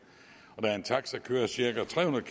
og da en taxa kører cirka tre hundrede